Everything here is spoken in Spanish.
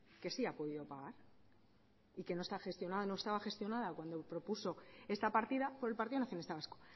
que sí ha podido pagar y que no estaba gestionada cuando propuso esta partida por el partido nacionalista vasco